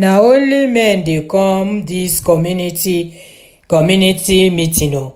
na only men dey come dis community community meeting o